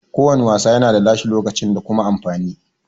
Ko wanna wasa yana da nashi lokacin da kuma amfani